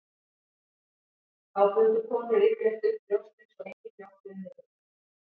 Þá bundu konur yfirleitt upp brjóstin svo engin mjólk rynni til þeirra.